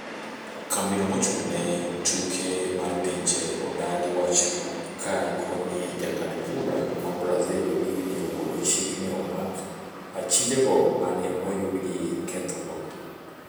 Kambino mochung'ne tuke mar pinje odagi wachno ka koni jang'ad bura ma Brasil wigni ogolo chik ni omak achijego mane oyudgi kethogo.